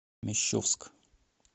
мещовск